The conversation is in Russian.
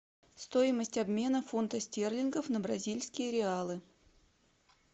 стоимость обмена фунта стерлингов на бразильские реалы